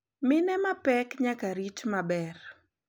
Mine mapek nyaka rit maber.